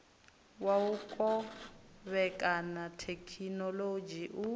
wa u kovhekana thekhinolodzhi u